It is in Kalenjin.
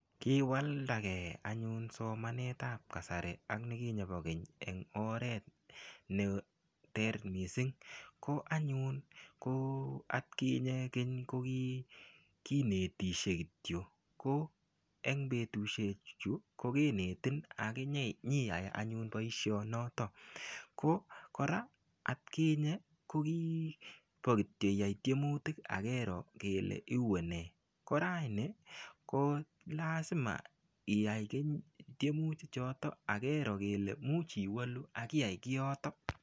Kiwalda ge anyun somanetab kasari ak nikinye bo keny eng oret neter mising. Ko anyun ko atkinye keny ko kikinetisye kityo. Ko eng betusiechu kokinetin ak inyiyai anyun boisionoto. Ko kora atkinye ko kikorkityo iyai tiemutik ak keroo kele iunee. Koraini kolasima iyai tiemuti choto ak keroo kele imuch iwolu ak iyai kiyoto.